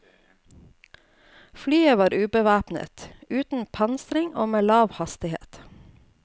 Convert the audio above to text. Flyet var ubevæpnet, uten pansring og med lav hastighet.